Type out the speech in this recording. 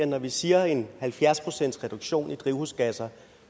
når vi siger en halvfjerds procentsreduktion i drivhusgasser